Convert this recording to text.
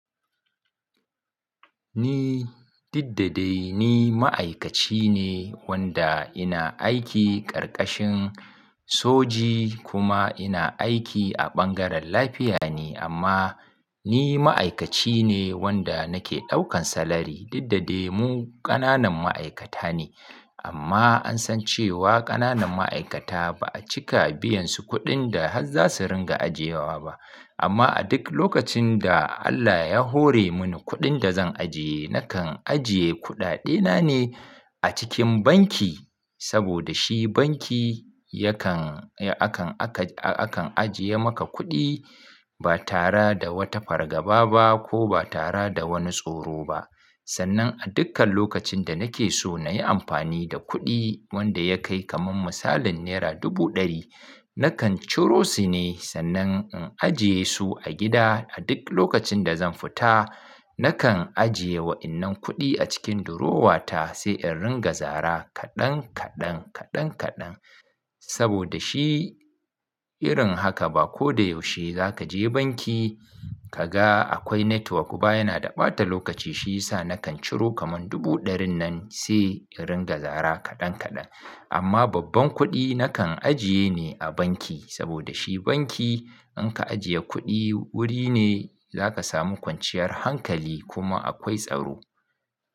Ni, didda dai ni ma'aikaci ne wanda ina aiki karkashin soji kuma ina aiki a ɓangaren lafiya ne amma ni ma'aikaci ne wanda nake ɗaukan salari. Didda dai mu ƙananan ma'aikata ne amma an san cewa ƙananan ma'aikata ba a cika biyansu kuɗin da har za su ringa ajiyewa ba. Amma a duk lokacin da Allah ya hore mun kuɗin da zan ajiye, nakan ajiye kuɗaɗe na ne a cikin banki saboda shi banki yakan, akan, aka, akan ajiye maka kuɗi ba tara da wata fargaba ba ko ba tara da wani tsoro ba. Sannan a dukkan lokacin da nake so na yi amfani da kuɗi wanda ya kai kaman misalin naira dubu ɗari, nakan ciro su ne sannan in ajiye su a gida. A duk lokacin da zan fita, nakan ajiye wa'innan kuɗi a cikin durowa ta sai in ringa zara kaɗan kaɗan, kaɗan kaɗan saboda shi irin haka ba ko da yaushe za ka je banki ka ga akwai network ba. Yana da ɓata lokaci shi yasa nakan ciro kaman dubu ɗarin nan sai in ringa zara kaɗan kaɗan. Amma babban kuɗi nakan ajiye ne a banki saboda shi banki in ka ajiye kuɗi, wuri ne za ka samu kwanciyar hankali kuma akwai tsaro.